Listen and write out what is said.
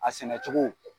A sɛnɛ cogo